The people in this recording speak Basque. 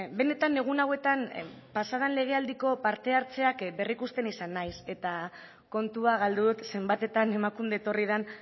benetan egun hauetan pasaden legealdiko parte hartzeak berrikusten izan naiz eta kontua galdu dut zenbatetan emakunde etorri den